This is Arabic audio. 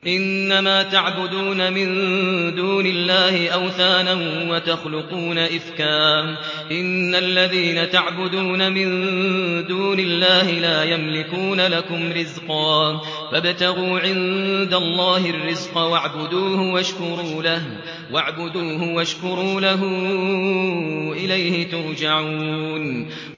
إِنَّمَا تَعْبُدُونَ مِن دُونِ اللَّهِ أَوْثَانًا وَتَخْلُقُونَ إِفْكًا ۚ إِنَّ الَّذِينَ تَعْبُدُونَ مِن دُونِ اللَّهِ لَا يَمْلِكُونَ لَكُمْ رِزْقًا فَابْتَغُوا عِندَ اللَّهِ الرِّزْقَ وَاعْبُدُوهُ وَاشْكُرُوا لَهُ ۖ إِلَيْهِ تُرْجَعُونَ